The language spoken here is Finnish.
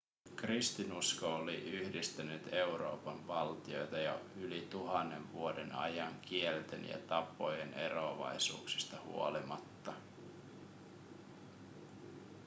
kristinusko oli yhdistänyt euroopan valtioita jo yli tuhannen vuoden ajan kielten ja tapojen eroavaisuuksista huolimatta